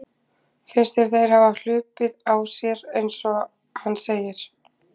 Finnst þér þeir hafa hlaupið á sér eins og hann segir?